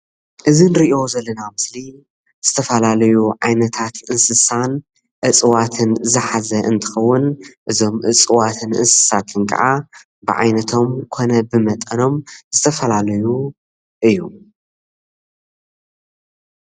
እዚ ንሪኦ ዘለና ምስሊ ዝተፈላለዩ ዓይነታት እንስሳን እፅዋትን ዝሓዘ እንትከውን እዞም እፅዋትን እንስሳትን ክዓ ብዓይነቶም ኮነ ብመጠኖም ዝተፈላለዩ እዩ።